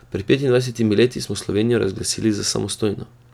Pred petindvajsetimi leti smo Slovenijo razglasili za samostojno.